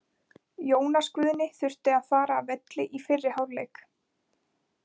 Jónas Guðni þurfti að fara af velli í fyrri hálfleik.